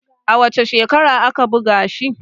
a wace shekara aka buga shi?